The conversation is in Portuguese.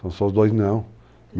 São só os dois, não.